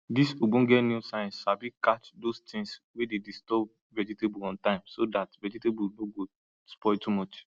dis ogbonge new science sabi catch those things wey dey disturb vegetable on time so dat vegetable no go spoil too much